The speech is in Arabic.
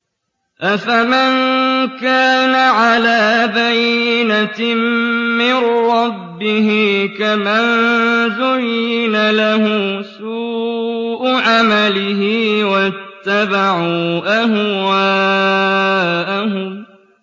أَفَمَن كَانَ عَلَىٰ بَيِّنَةٍ مِّن رَّبِّهِ كَمَن زُيِّنَ لَهُ سُوءُ عَمَلِهِ وَاتَّبَعُوا أَهْوَاءَهُم